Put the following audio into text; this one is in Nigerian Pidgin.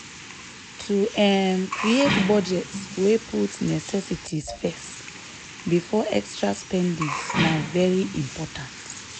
to um create budget wey put necessities first before extra spending na very important.